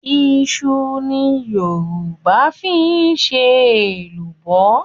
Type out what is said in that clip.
Iṣu ni Yorùbá fi ń ṣe èlùbọ́